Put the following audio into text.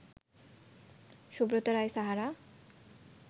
Subrata Roy Sahara